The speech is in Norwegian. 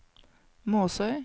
Måsøy